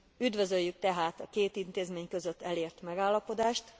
Üdvözöljük tehát e két intézmény között elért megállapodást.